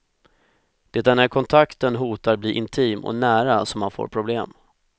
Det är när kontakten hotar bli intim och nära som han får problem.